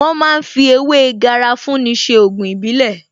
Wón ma ń fi ewé Garafuni ṣe Ògùn ìbílẹ̀